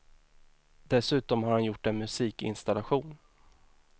Dessutom har han gjort en musikinstallation.